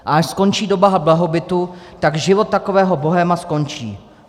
A až skončí doba blahobytu, tak život takového bohéma skončí.